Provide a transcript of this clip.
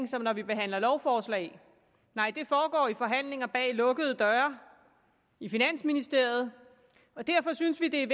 som når vi behandler lovforslag nej det foregår i forhandlinger bag lukkede døre i finansministeriet og derfor synes vi det er